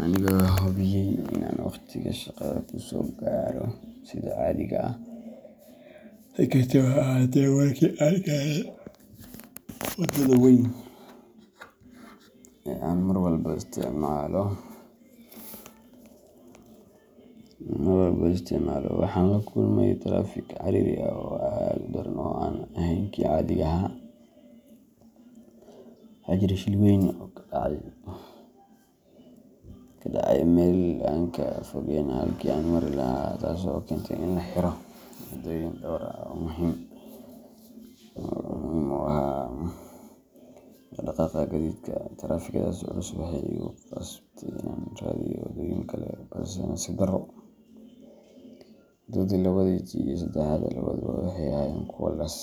anigoo hubiyay in aan wakhtiga shaqada kusoo gaaro sida caadiga ah. Si kastaba ha ahaatee, markii aan gaaray wadada weyn ee aan mar walba isticmaalo, waxaan la kulmay taraafik ciriiri ah oo aad u daran oo aan ahayn kii caadiga ahaa. Waxaa jiray shil weyn oo ka dhacay meel aan ka fogeyn halkii aan mari lahaa, taas oo keentay in la xiro waddooyin dhowr ah oo muhiim u ahaa dhaq-dhaqaaqa gaadiidka. Taraafikadaas culus waxay igu qasbtay inaan raadiyo wadooyin kale, balse nasiib darro, wadadii labaad iyo tii saddexaad labaduba waxay ahaayeen kuwo la saameeyay.